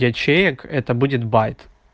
ячеек это будет байт